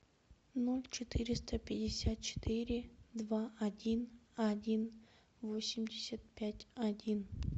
ноль четыреста пятьдесят четыре два один один восемьдесят пять один